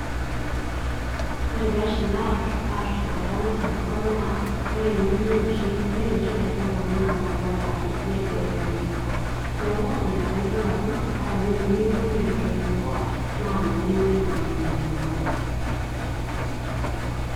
ore pee eshil aatur tenkata nashal enkop naa imenoshi kaitubulu naabulu ata etoyio enkop, naa ina pee idol ajo ata teniyieu niun etoyio enkop naa meunoi naa amu mebulu.